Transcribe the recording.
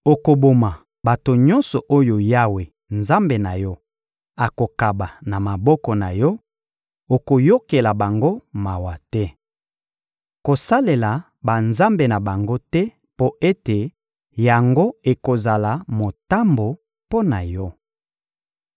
Okoboma bato nyonso oyo Yawe, Nzambe na yo, akokaba na maboko na yo; okoyokela bango mawa te. Kosalela banzambe na bango te mpo ete yango ekozala motambo mpo na yo.